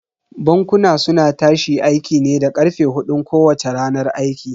Bankuna suna tashi aiki ne da karfe hudun kowacce ranar aiki.